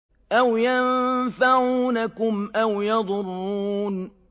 أَوْ يَنفَعُونَكُمْ أَوْ يَضُرُّونَ